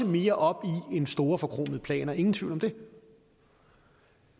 mere op i end store forkromede planer ingen tvivl om det